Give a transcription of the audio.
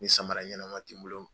Ni samara ɲɛnama ti n bolo